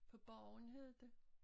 På borgen hed det